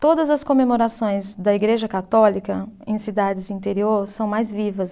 Todas as comemorações da Igreja Católica em cidades interior são mais vivas.